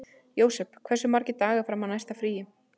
Jósep, hversu margir dagar fram að næsta fríi?